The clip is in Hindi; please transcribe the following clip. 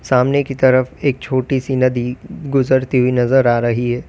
सामने की तरफ एक छोटी सी नदी गुजरती हुई नजर आ रही है।